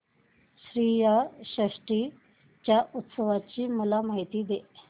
श्रीयाळ षष्टी च्या उत्सवाची मला माहिती दे